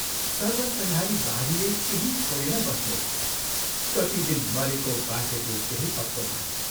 सर्वसंहारी बाढीले केही छोडेन बस्नेतको कति दिन मरेको बाँचेको केही पत्तो भएन।